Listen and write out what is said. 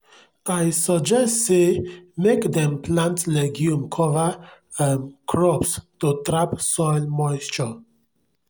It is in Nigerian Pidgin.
i suggest sey mek dem plant legume cover um crops to trap soil moisture